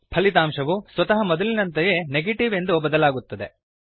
ಫಲಿತಾಂಶವು ಸ್ವತಃ ಮೊದಲಿನಂತೆಯೇ ನೆಗೇಟಿವ್ ಎಂದು ಬದಲಾಗುತ್ತದೆ